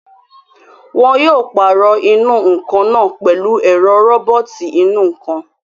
Wọn yóò pàrọ̀ ìnù-ǹkan náà pẹ̀lú ẹ̀rọ róbọ̀tì ìnù-ǹkan